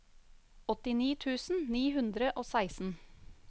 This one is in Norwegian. åttini tusen ni hundre og seksten